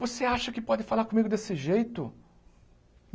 Você acha que pode falar comigo desse jeito?